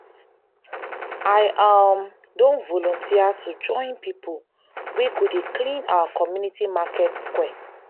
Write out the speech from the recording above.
i um don volunteer to join pipo wey go dey clean our community market square.